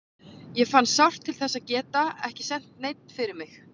Ég fann sárt til þess að geta ekki sent neinn fyrir mig.